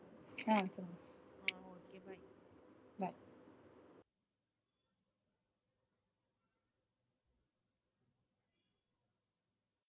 அஹ் வச்சிருங்க.